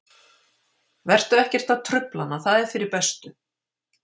Vertu ekkert að trufla hana, það er fyrir bestu.